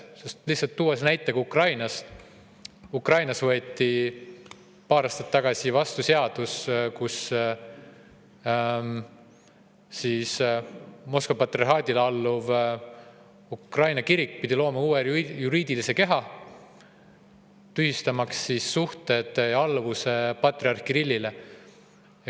Kui tuua näide Ukrainast, siis seal võeti paar aastat tagasi vastu seadus, millega Moskva patriarhaadile alluv Ukraina kirik pidi looma uue juriidilise keha, tühistamaks alluvuse patriarh Kirillile.